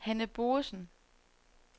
Hanne Boesen